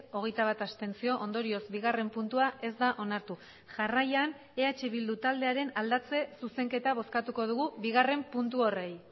hogeita bat abstentzio ondorioz bigarren puntua ez da onartu jarraian eh bildu taldearen aldatze zuzenketa bozkatuko dugu bigarren puntu horri